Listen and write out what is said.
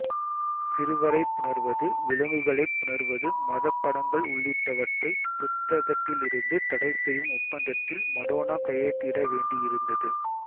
சிறுவரை புணர்வது விலங்குகளை புணர்வது மதப் படங்கள் உள்ளிட்டவற்றை புத்தகத்திலிருந்து தடைசெய்யும் ஒப்பந்தத்தில் மடோனா கையெழுத்திட வேண்டியிருந்தது